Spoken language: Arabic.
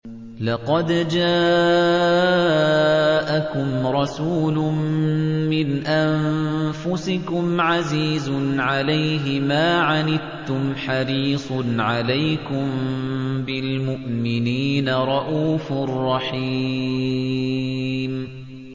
لَقَدْ جَاءَكُمْ رَسُولٌ مِّنْ أَنفُسِكُمْ عَزِيزٌ عَلَيْهِ مَا عَنِتُّمْ حَرِيصٌ عَلَيْكُم بِالْمُؤْمِنِينَ رَءُوفٌ رَّحِيمٌ